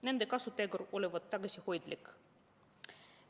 Nende kasutegur olevat tagasihoidlik.